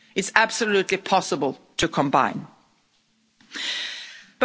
It's absolutely possible to combine the two.